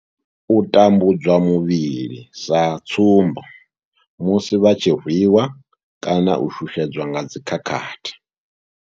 U tambudzwa muvhil sa tsumbo, musi vha tshi rwi wa kana u shushedzwa nga dzi khakhathi.